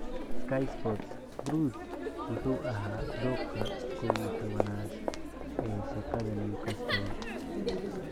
(Sky Sports) Bruce 'wuxuu ahaa dooqa 11-aad' ee shaqada Newcastle.